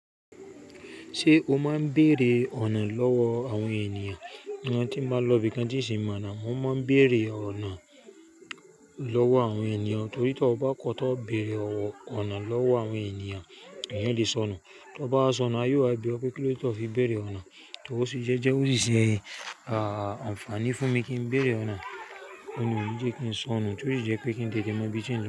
Ṣé o máa ń béèrè ọ̀nà lọ́wọ́ àwọn ènìyàn? Ìgbà tí mo báa n lọ ibi kan tin sì mọ̀ ọná, mo máa ń béèrè ọ̀nà lọ́wọ́ àwọn ènìyàn. Torí tí o bá kọ́ tá bẹ̀rẹ̀ ọ̀nà lọ́wọ́ àwọn ènìyàn, èèyàn lè sọnù. Tí o bá sọnù, a yóò wá bí ọ pé kí ló ti fi bẹ̀rẹ̀ ọ̀nà, torí sì jẹ́, jẹ́ ó sì ṣe, ah, àǹfààní fún mi kí n béèrè ọ̀nà nínú ìdíje kí n sọnù torí jẹ́ pé kí n tètè mọ bí i ṣe ń lọ.